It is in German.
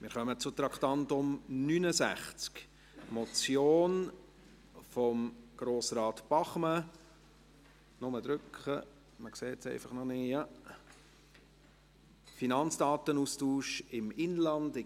Wir kommen zu Traktandum 69, einer Motion von Grossrat Bachmann zum Finanzdatenaustausch im Inland.